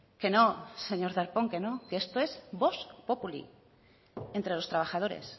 que no señor darpón que no que esto es vox populi entre los trabajadores